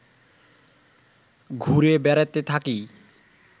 ঘুরে বেড়াতে থাকি